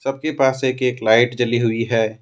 सबके पास एक एक लाइट जली हुई है।